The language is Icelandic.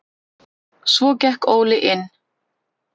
Svo gekk Óli inn.